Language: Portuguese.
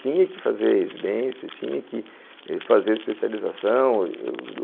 Tinha que fazer residência, tinha que fazer especialização.